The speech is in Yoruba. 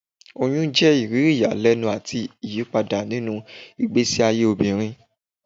Oyun jẹ iriri iyalẹnu ati iyipada ninu igbesi aye obinrin.